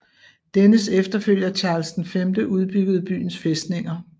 Dennes efterfølger Charles V udbyggede byens fæstninger